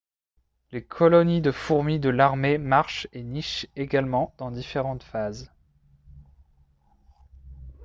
les colonies de fourmis de l'armée marchent et nichent également dans différentes phases